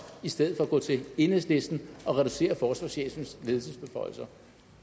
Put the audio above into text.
i stedet for at gå til enhedslisten og reducere forsvarschefens ledelsesbeføjelser